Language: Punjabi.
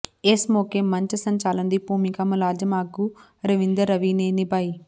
ਇਸ ਮੌਕੇ ਮੰਚ ਸੰਚਾਲਨ ਦੀ ਭੂਮਿਕਾ ਮੁਲਾਜ਼ਮ ਆਗੂ ਰਵਿੰਦਰ ਰਵੀ ਨੇ ਨਿਭਾਈ